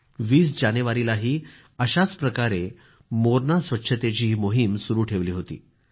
20 जानेवारीलाही अशाच प्रकारे मोरणा स्वच्छतेची ही मोहीम सुरू ठेवली होती